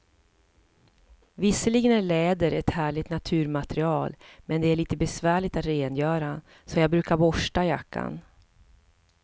Visserligen är läder ett härligt naturmaterial, men det är lite besvärligt att rengöra, så jag brukar borsta jackan.